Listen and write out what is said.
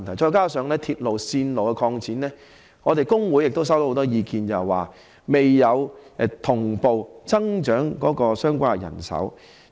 再加上鐵路線擴展，我們工會亦收到很多意見，指未有同步增加相關的人手。